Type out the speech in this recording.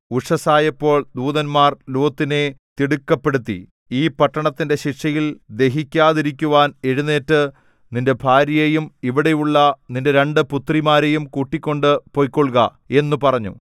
ഉഷസ്സായപ്പോൾ ദൂതന്മാർ ലോത്തിനെ തിടുക്കപ്പെടുത്തി ഈ പട്ടണത്തിന്റെ ശിക്ഷയിൽ ദഹിക്കാതിരിക്കുവാൻ എഴുന്നേറ്റു നിന്റെ ഭാര്യയെയും ഇവിടെയുള്ള നിന്റെ രണ്ട് പുത്രിമാരെയും കൂട്ടിക്കൊണ്ട് പൊയ്ക്കൊള്ളുക എന്നു പറഞ്ഞു